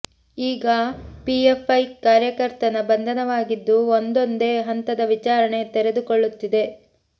ಈಗ PFI ಕಾರ್ಯಕರ್ತನ ಬಂಧನವಾಗಿದ್ದು ಒಂದೊಂದೆ ಹಂತದ ವಿಚಾರಣೆ ತೆರೆದುಕೊಳ್ಳುತ್ತಿದೆ